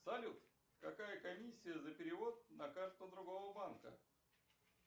салют какая комиссия за перевод на карту другого банка